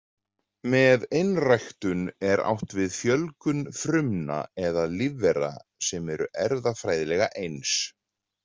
Með einræktun er átt við fjölgun frumna eða lífvera sem eru erfðafræðilega eins.